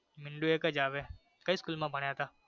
મીંડું એક જ આવે કઈ school માં ભણ્યા તા